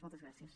moltes gràcies